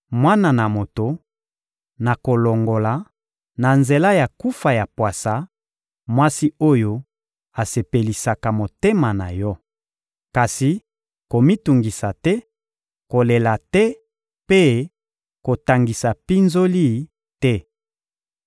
«Mwana na moto, nakolongola, na nzela ya kufa ya pwasa, mwasi oyo asepelisaka motema na yo. Kasi komitungisa te, kolela te mpe kotangisa mpinzoli te.